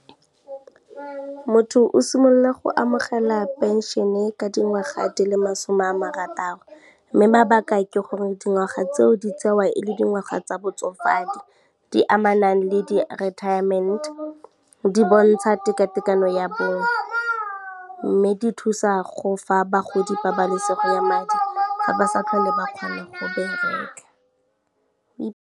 Motho o simolola go amogela pension-e ka dingwaga di le masome a marataro, mme mabaka ke gore dingwaga tseo di tsewa e le dingwaga tsa botsofadi, di amana le di-retirement, di bontsha tekatekano ya bong, mme di thusa go fa bagodi pabalesego ya madi, fa ba sa tlhole ba kgona go bereka.